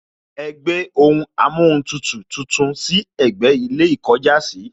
Ẹ gbé ohun amóhuntutù tuntun sí ẹ̀gbẹ́ ilé ìkọjásìí